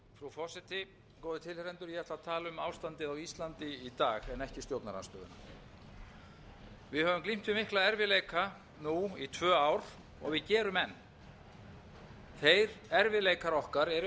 ástandið á íslandi í dag en ekki stjórnarandstöðuna við höfum glímt við mikla erfiðleika nú í tvö ár og við gerum enn þeir erfiðleikar okkar eru